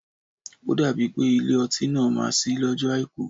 Ó dàbí pé Ilé-ọtí náà má ṣí lọjọ Àìkú.